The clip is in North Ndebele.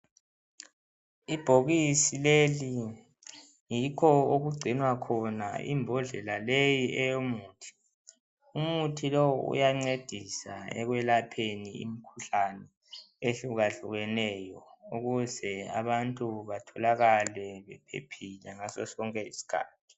Ibhokisi leli yikho okugcinwa khona imbodlela leyi eyomuthi .Umuthi lo uyancedisa ekwelapheni imikhuhlane ehlukahlukeneyo ukuze abantu batholakale bephephile ngasosonke isikhathi.